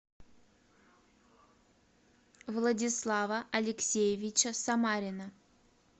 владислава алексеевича самарина